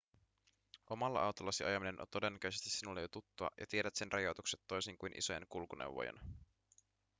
omalla autollasi ajaminen on todennäköisesti sinulle jo tuttua ja tiedät sen rajoitukset toisin kuin isojen kulkuneuvojen